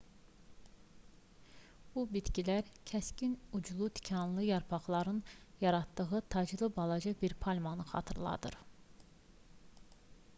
bu bitkilər kəskin uclu tikanlı yarpaqlarının yaratdığı taclı balaca bir palmanı xatırladır